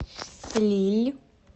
лилль